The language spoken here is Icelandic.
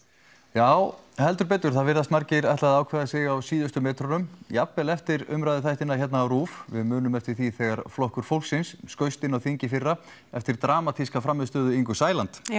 já heldur betur það virðast margir ákveða sig á síðustu metrunum jafnvel eftir umræðuþættina hérna á Rúv við munum eftir því þegar Flokkur fólksins skaust inn á þing í fyrra eftir dramatíska frammistöðu Ingu Sæland